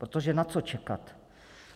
Protože na co čekat?